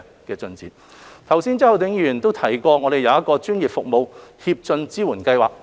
剛才周浩鼎議員也提到我們有一個專業服務協進支援計劃。